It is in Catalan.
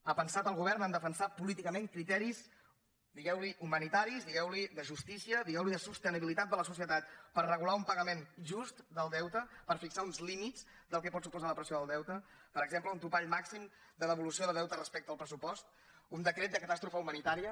ha pensat el govern a defensar políticament criteris digueu ne humanitaris digueu ne de justícia digueu ne de sostenibilitat de la societat per regular un pagament just del deute per fixar uns límits del que pot suposar la pressió del deute per exemple un topall màxim de devolució de deute respecte al pressupost un decret de catàstrofe humanitària